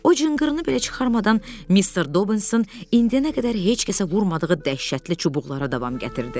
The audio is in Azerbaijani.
O cınqırını belə çıxarmadan Mister Dobinso indiyənə qədər heç kəsə vurmadığı dəhşətli çubuqlara davam gətirdi.